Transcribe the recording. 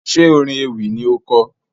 Ṣe orin ewì ni o kọ?